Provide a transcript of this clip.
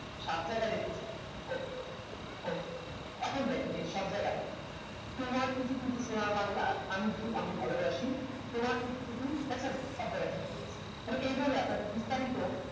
সাতরা লেখক ok ok এখন এই সব জায়গা তোমার টু টু টু টু সোনার বাংলা আমি টু আমি ভালোবাসি তোমার টু টু টু টু দেখছেন সব জায়গা তে তাহলে এই বারে আপনাদের বিস্তারিত